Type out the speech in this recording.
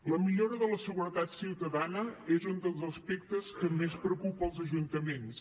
la millora de la seguretat ciutadana és un dels aspectes que més preocupa els ajuntaments